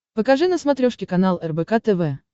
покажи на смотрешке канал рбк тв